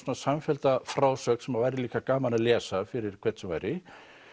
samfellda frásögn sem væri líka gaman að lesa fyrir hvern sem væri